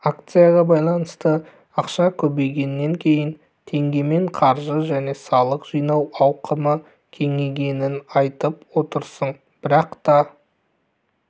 акцияға байланысты ақша көбейгеннен кейін теңгемен қаржы және салық жинау ауқымы кеңейгенін айтып отырсың бірақ та